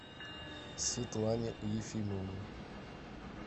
светлане ефимовне